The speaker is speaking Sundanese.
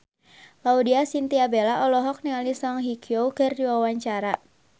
Laudya Chintya Bella olohok ningali Song Hye Kyo keur diwawancara